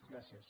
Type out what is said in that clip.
gràcies